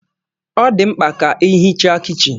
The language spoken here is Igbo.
Ọ dị mkpa ka ihicha kichin